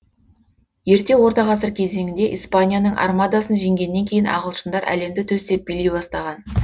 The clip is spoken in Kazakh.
ерте орта ғасыр кезеңінде испанияның армадасын жеңгеннен кейін ағылшындар әлемді төстеп билей бастаған